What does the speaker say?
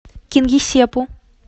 кингисеппу